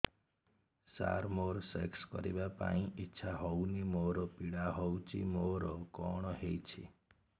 ସାର ମୋର ସେକ୍ସ କରିବା ପାଇଁ ଇଚ୍ଛା ହଉନି ଆଉ ପୀଡା ହଉଚି ମୋର କଣ ହେଇଛି